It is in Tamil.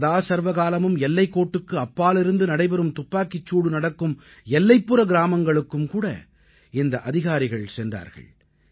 சதாசர்வகாலமும் எல்லைக்கோட்டுக்கு அப்பாலிருந்து நடைபெறும் துப்பாக்கிச் சூடு நடக்கும் எல்லைப்புற கிராமங்களுக்கும்கூட இந்த அதிகாரிகள் சென்றார்கள்